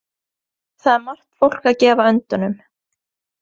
Þar er margt fólk að gefa öndunum.